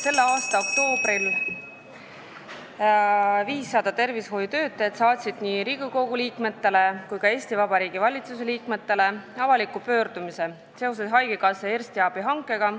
Selle aasta oktoobris saatsid 500 tervishoiutöötajat nii Riigikogu liikmetele kui ka Eesti Vabariigi valitsuse liikmetele avaliku pöördumise seoses haigekassa eriarstiabi hankega.